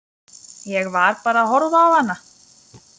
Ég var bara að horfa á hana.